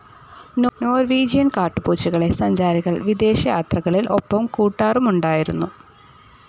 Norwegian കാട്ടുപൂച്ചകളെ സഞ്ചാരികൾ വിദേശയാത്രകളിൽ ഒപ്പംകൂട്ടാറുമുണ്ടായിരുന്നു.